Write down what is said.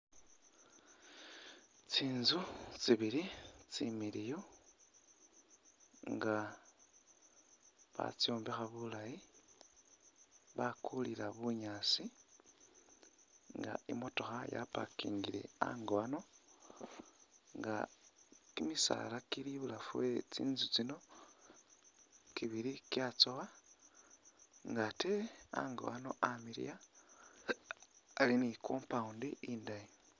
Tsintsu tsibili tsimiliyu nga batsombekha bulayi bakulila bunyasi nga i mootokha ya parkingile hango hano nga kimisaala kili ibulafu we tsintsu tsino kibili kyatsowa nga atee ango ano amiliya ali ni compound indayi.